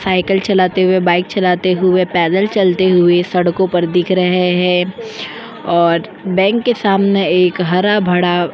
cycle चलाते हुवे bike चलाते हुवे पैदल चलते हुवे सड़को पर दिख रहे है और बैंक के सामने हरा भड़ा --